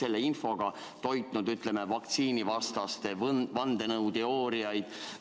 selle infoga toitnud vaktsiinivastaste vandenõuteooriaid?